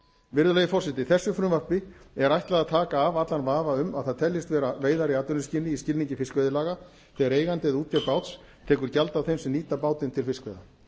virðulegi forseti þessu frumvarpi er ætlað taka af allan vafa um að það teljist vera veiðar í atvinnuskyni í skilningi fiskveiðilaga þegar eigandi eða útgerð báts tekur gjald af þeim sem nýta bátinn til fiskveiða